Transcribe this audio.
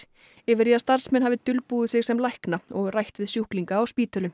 yfir í að starfsmenn hafi dulbúið sig sem lækna og rætt við sjúklinga á spítölum